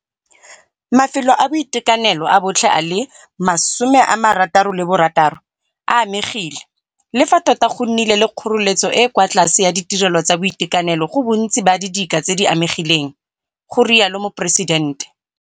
Mafelo a boitekanelo a botlhe a le 66 a amegile, le fa tota go nnile le kgoreletso e e kwa tlase ya ditirelo tsa boitekanelo go bontsi ba didika tse di amegileng, go rialo Moporesidente.